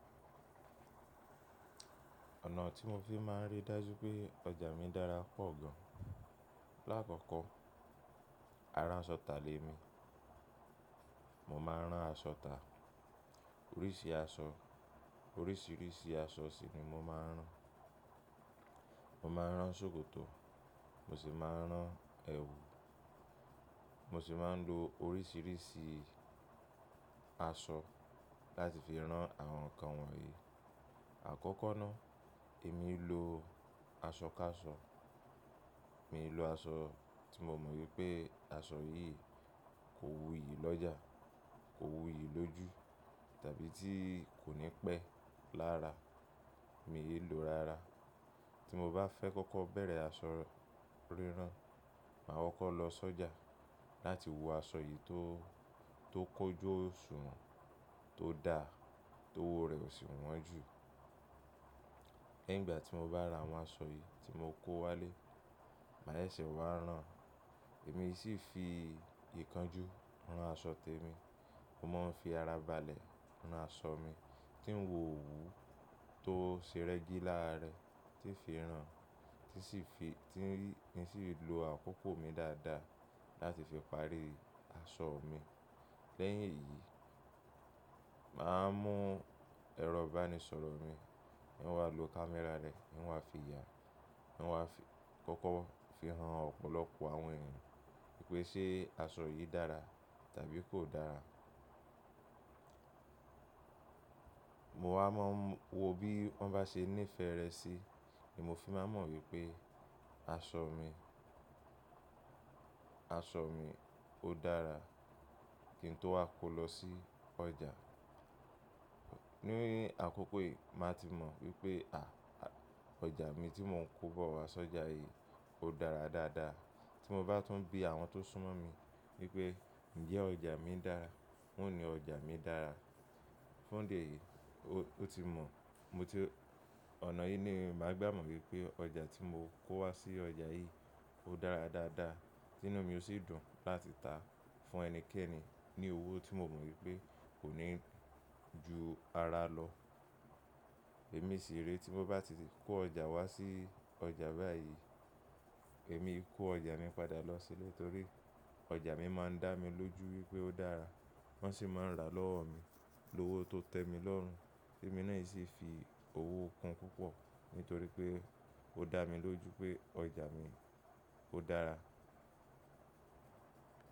Ọ̀nà tí mo fi máa ń rí dájú pé ọjà mi dára pọ̀ gan. Láàkọ́kọ́, ará aṣọ tà lè mi. Mo máa ń rán aṣọ tà. Oríṣìí aṣọ, oríṣìíríṣìí aṣọ sì ni mo máa ń rán. Mo máa ń rán ṣòkòtò, mo sì máa ń rán ẹwù. Mo sì máa ń lo oríṣìíríṣìí aṣọ láti fi rán àwọn nǹkan wọ̀nyí. Àkọ́kọ́ ná, èmi ló aṣọ ká aṣọ. Mi ló aṣọ tí mo mọ̀ wípé aṣọ yìí kò wú ìyí lọ́jà, kò wú ìyí lójú tàbí tí kò ní pé lára. Mi yi lòó rárá. Tí mo bá fẹ́ kọ́kọ́ bẹ̀rẹ̀ aṣọ rírán, màá kọkọ́ lọ sọ́jà láti wo aṣọ yìí tó, tó kójó òṣùwọ̀n, tó da, tó wò rẹ̀ ó sì wọ́n jù. Lẹ́yìn ìgbà tí mo bá ra àwọn aṣọ yìí tí mo kó wálé, màá yẹ́sẹ̀ wá rán. Èmi sì fi ìyè kan jú ran aṣọ tèmi. Mo máa ń fi ara balẹ̀ rán aṣọ mi tí ń wò òwú tó ṣe rẹ́gí láara rẹ̀, tí ń fi rán, tí sì fi, tí ń sì lò àkókò mi dáadáa láti fi parí aṣọ mi. Lẹ́yìn èyí, màá mú ẹrọ ìbánisọ̀rọ̀ mi, ní wá lò kámẹ́rà rẹ̀, ní wá fi ya, ní wá fi kọ́kọ́ fi hàn ọ̀pọ̀lọpọ̀ àwọn ènìyàn wípé ṣe aṣọ yìí dára tàbí kò dára. Mo wá máa m wo bí wọ́n bá ṣe nífẹ̀ẹ́ rẹ̀ sí ni mo fi máa mọ̀ wípé aṣọ mi, aṣọ mi ó dára kí n tó wá kó lọ sí ọjà. Nínú àkókò yìí màá ti mọ̀ wípé à, ọjà mi tí mò ń kó bọ̀ wá sọ́jà yìí ó dára dáadáa. Tí mo bá tún bí àwọn tó súnmọ́ mi wípé ǹjẹ́ ọjà mi dára, wón ni ọjà mi dára. Fun idi eyìí, ó ti mọ̀, mo ti-- ọ̀nà yìí ni màá gbà mọ̀ wípé ọjà tí mo kó wá sí ọjà yìí ó dára dáadáa, tínú mi ó sì dùn láti tà á fún ẹnikẹ́ni ní owó tí mo mọ̀ wípé kò ní ju ara lọ. Èmi sì rí tí mo bá ti kó ọjà wá sí ọjà báyìí, èmi kó ọjà mi padà lọ sílé torí ọjà mi máa ń dá mi lójú wípé ó dára. Wọ́n sì máa ń rà lọ́wọ́ mi lówó tó tẹ́ mi lọ́run tí mo náà sì fi owó kun púpọ̀ nítorí pé ó dá mi lójú pé ọjà mi ó dára.